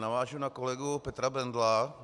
Navážu na kolegu Petra Bendla.